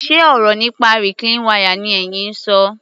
Ṣe ọ̀rọ̀ nípa reclean wire ni ẹyin ń ṣọ?